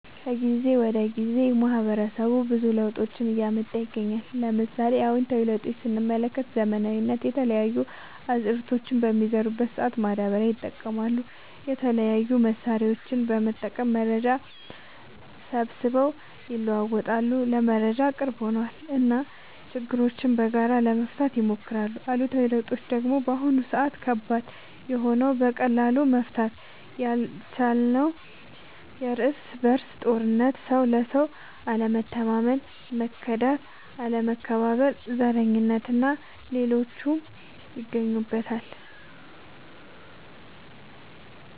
ከጊዜ ወደ ጊዜ ማህበረሰቡ ብዙ ለውጦችን እያመጣ ይገኛል። ለምሳሌ፦ አዎንታዊ ለውጦች ስንመለከት ዘመናዊነት፣ የተለያዩ አዝዕርቶችን በሚዘሩ ሰአት ማዳበሪያ ይጠቀማሉ፣ የተለያዩ መሳሪያዎችን በመጠቀም መረጃ ሰብስበው ይለዋወጣሉ (ለመረጃ ቅርብ ሆነዋል ) እና ችግሮችን በጋራ ለመፍታት ይሞክራሉ። አሉታዊ ለውጦች ደግሞ በአሁን ሰአት ከባድ የሆነው በቀላሉ መፈታት ያልቻለው የርስ በርስ ጦርነት፣ ሰው ለሰው አለመተማመን፣ መከዳዳት፣ አለመከባበር፣ ዘረኝነት እና ሌሎችም ይገኙበታል።